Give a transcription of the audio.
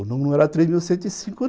O número não era três mil cento e cinco não